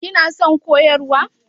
Kina son koyarwa?